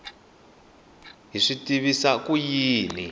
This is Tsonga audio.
hi swi tivisa ku yini